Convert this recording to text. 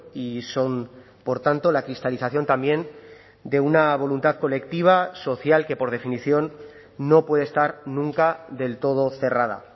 y son por tanto la cristalización también de una voluntad colectiva social que por definición no puede estar nunca del todo cerrada